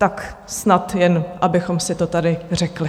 Tak snad jen abychom si to tady řekli.